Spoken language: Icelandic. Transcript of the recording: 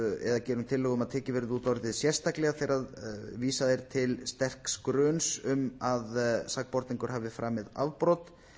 gerum tillögu um að tekið verði út orðið sérstaklega þegar vísað er til sterks gruns um að sakborningur hafi framið afbrot